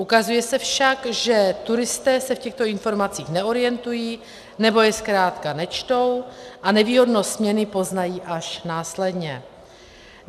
Ukazuje se však, že turisté se v těchto informacích neorientují nebo je zkrátka nečtou a nevýhodnost směny poznají až následně.